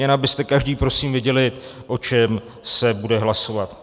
Jen abyste každý prosím věděli, o čem se bude hlasovat.